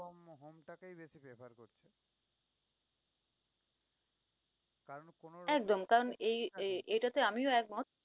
একদম, কারন এই এ~এটাতে আমিও একমত।